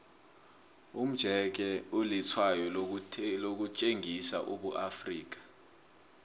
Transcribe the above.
umjeke ulitshwayo lokutjengisa ubuafrika